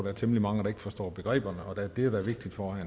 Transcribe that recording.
er temmelig mange der ikke forstår begreberne og det er da vigtigt for at